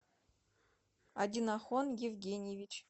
одинохон евгеньевич